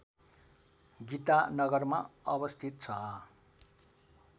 गीतानगरमा अवस्थित छ